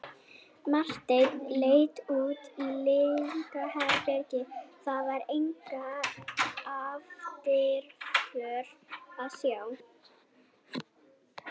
Marteinn leit út á lyngheiðina, þar var enga eftirför að sjá.